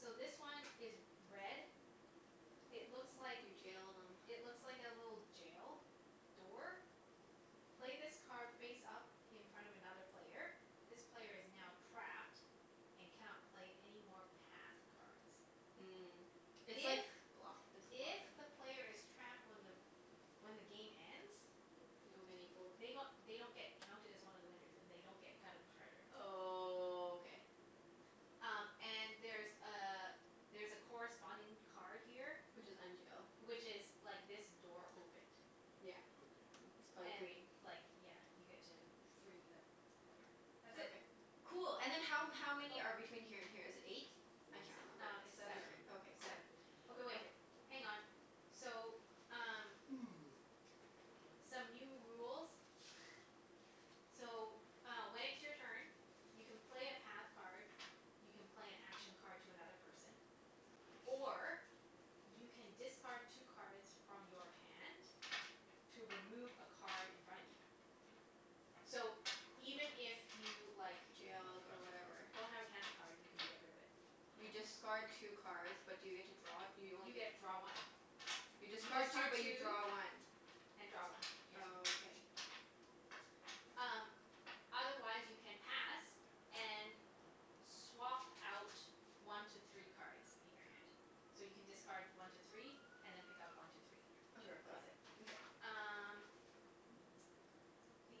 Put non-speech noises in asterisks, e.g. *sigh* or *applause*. So, this one is red It looks like You jailed him. It looks like a little jail door. Play this card face up in front of another player. This player is now trapped and cannot play any more path cards. Mm. It's If like block this if blocker. the player is trapped when the when the game ends They don't get any gold. they g- they don't get counted as one of the winners. And they don't get a cut of the treasure. Oh, k. Um, and there's a there's a corresponding card here Which is unjail. which is like this door opened. Yeah. Okay. It's probably And green. like, yeah, you get to free the player. *noise* That's it. Okay. Cool. And then how m- how many are Oh. between here and here? Is it eight? I S- can't remember. um, it's Seven or seven. Seven. ei- okay, cool. Seven. Okay wait, Okay. hang on. So, um *noise* *noise* some new rules. *laughs* So, uh when it's your turn you can play a path card you can play an action card to another person or you can discard two cards from your hand to remove a card in front of you. So, even if you, like Don't have a Jailed or cancel whatever. card. don't have a cancel card, you can get rid of it. You Oh. discard two cards but do you get to draw it? You only You get get draw one. You You discard two discard but you two draw one. and draw one, yeah. Oh, okay. Um, otherwise you can pass and swap out one to three cards in your hand. So, you can discard one to three and then pick up one to three to Okay, got replace it. it. Mkay. Um *noise* the,